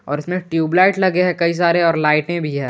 और इसमें ट्यूबलाइट लगे हैं कई सारे और लाइटें भी है।